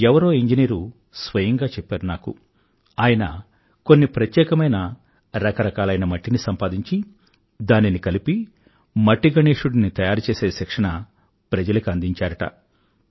ఎవరో ఇంజనీరు స్వయంగా చెప్పారు నాకు ఆయన కొన్ని ప్రత్యేకమైన రకరకాలైన మట్టిని సంపాదించి దానిని కలిపి మట్టిగణేశుడిని తయారుచేసే శిక్షణ ప్రజలకి అందించారుట